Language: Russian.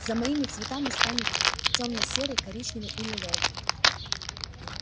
за моими цветами станут тёмно-серый коричневый и лиловый